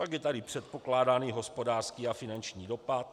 Pak je tady Předpokládaný hospodářský a finanční dopad.